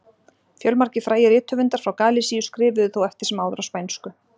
Fjölmargir frægir rithöfundar frá Galisíu skrifuðu þó eftir sem áður á spænsku.